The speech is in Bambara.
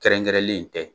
Kɛrɛnkɛrɛnlen tɛ